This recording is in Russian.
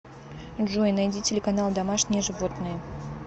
джой найди телеканал домашние животные